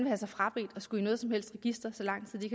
have sig frabedt at skulle i noget som helst register så lang tid de